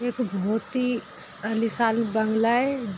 यह एक पहाड़ है यह पहाड़ बहुत अच्छा है।